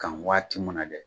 Kan waati ma na gɛ